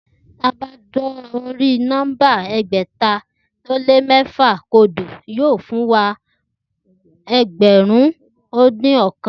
Ti a ba da ori numba ẹgbẹta o lé mefa kodo yóò fún wa ni egberun odin ọkan.